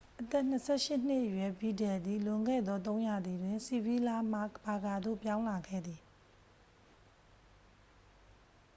အသက် 28 ရှစ်နှစ်အရွယ် ဗီဒယ်လ်သည် လွန်ခဲ့သော သုံးရာသီတွင် ဆီဗီးလားမှ ဘာကာသို့ ပြောင်းလာခဲ့သည်